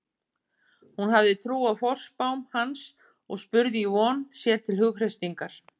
Hún hafði trú á forspám hans og spurði í von, sér til hughreystingar.